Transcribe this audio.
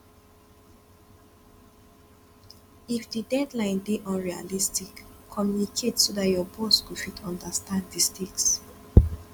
if di deadline dey unrealistic communicate so dat your boss go fit understand di stakes